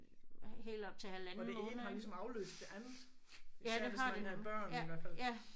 Og det ene har ligesom afløst det andet. Især hvis man havde børn i hvert fald